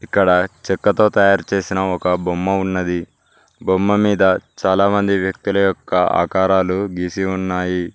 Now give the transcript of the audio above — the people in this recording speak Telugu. ఇక్కడ చెక్కతో తయారు చేసిన ఒక బొమ్మ ఉన్నది బొమ్మ మీద చాలామంది వ్యక్తుల యొక్క ఆకారాలు గీసి ఉన్నాయి.